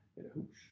Æ hus